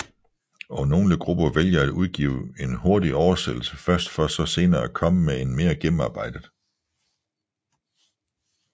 Og nogle grupper vælger at udgive en hurtig oversættelse først for så senere at komme med en mere gennemarbejdet